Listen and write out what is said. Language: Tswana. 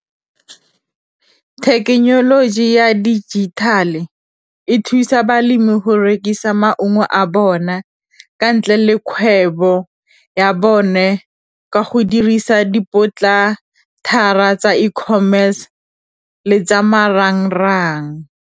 Thekenoloji ya dijithale e e thusa balemi go rekisa maungo a bona ka ntle le kgwebo ya bone, ka go dirisa di tsa e-commerce le tsa marangrang.